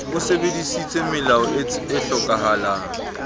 o sebedisitse melao e hlokehang